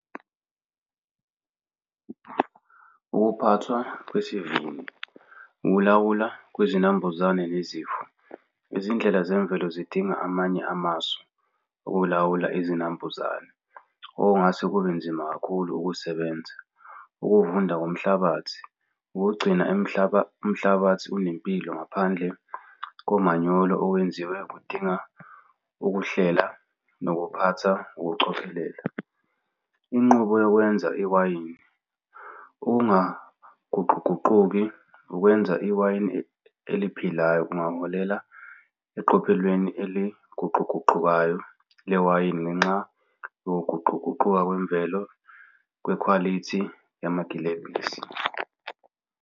Ukuphathwa kwesivinini, ukulawula kwezinambuzane nezifo. Izindlela zemvelo zidinga amanye amasu ukulawula izinambuzane okungase kube nzima kakhulu ukusebenza. Ukuvunda komhlabathi, ukugcina umhlabathi unempilo ngaphandle komanyolo owenziwe kudinga ukuhlela nokuphatha ngokucophelela. Inqubo yokwenza iwayini, ukungaguqukaguquki ukwenza iwayini eliphilayo kungaholela eqophelweni eliguquguqukayo lewayini ngenxa yokuguquguquka kwemvelo kwekhwalithi yamagilebhisi.